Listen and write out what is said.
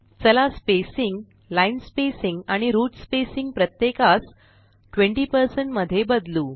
चला spacing line spacing आणि root spacing प्रत्येकास 20 मध्ये बदलू